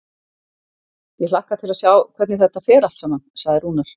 Ég hlakka til að sjá hvernig þetta fer allt saman, sagði Rúnar.